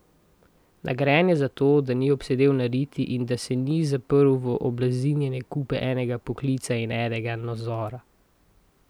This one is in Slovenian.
Nagrajen je za to, da ni obsedel na riti in da se ni zaprl v oblazinjeni kupe enega poklica in enega nazora.